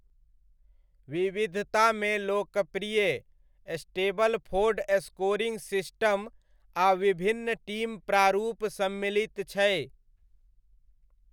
विविधतामे लोकप्रिय Stableford scoring system आ विभिन्न टीम प्रारूप सम्मिलित छै।